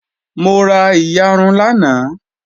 Mo ra iyarun lánàá